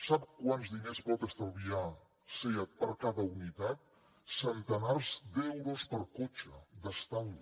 sap quants diners pot estalviar seat per cada unitat centenars d’euros per cotxe d’estalvi